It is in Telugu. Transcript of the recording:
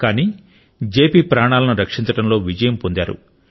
కానీ జెపి ప్రాణాలను రక్షించడంలో విజయం పొందాడు